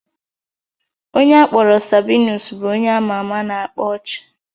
Onye akpọrọ Sabinus bụ onye ama ama na-akpa ọchị